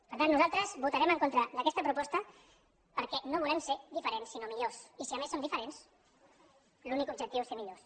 per tant nosaltres votarem en contra d’aquesta proposta perquè no volem ser diferents sinó millors i si a més som diferents l’únic objectiu és ser millors